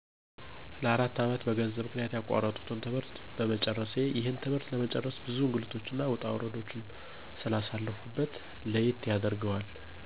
ለ፬አመት በገንዘብ ምክንያት ያቋረጥሁትን ትምህርት በመጨረሴ። ይህን ትምህርት ለመጨረስ ብዙ እንግልቶችንና ውጣውረዶችን ስላሳለፍሁበት ለየት ያደርገዋል።